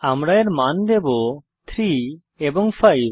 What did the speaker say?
আমরা এর মান দেবো 3 এবং 5